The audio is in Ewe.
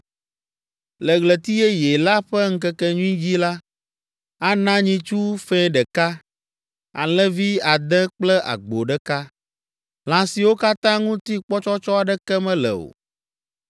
Le Ɣleti Yeye la ƒe ŋkekenyui dzi la, ana nyitsu fɛ̃ ɖeka, alẽvi ade kple agbo ɖeka, lã siwo katã ŋuti kpɔtsɔtsɔ aɖeke mele o.